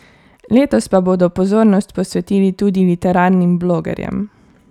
Letos pa bodo pozornost posvetili tudi literarnim blogerjem.